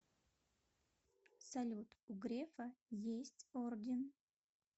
салют у грефа есть орден